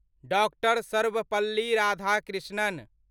doctor Sarvepalli Radhakrishnan